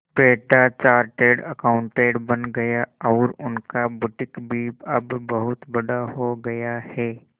बेटा chartered accountant बन गया और उनका बुटीक भी अब बहुत बड़ा हो गया है